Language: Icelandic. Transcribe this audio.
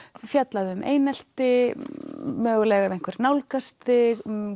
fjallað um einelti mögulega ef einhver nálgast þig